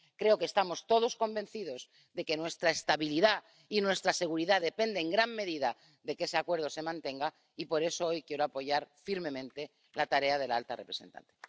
Creo que estamos todos convencidos de que nuestra estabilidad y nuestra seguridad dependen en gran medida de que ese acuerdo se mantenga, y por eso hoy quiero apoyar firmemente la tarea de la alta representante.